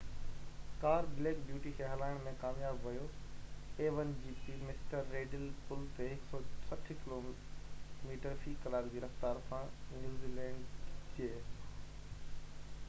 mister Riddell پل تي 160 kilometre في ڪلاڪ جي رفتار سان نيوزيلينڊ جي a1gp ڪار بليڪ بيوٽي کي هلائڻ ۾ ڪامياب ويو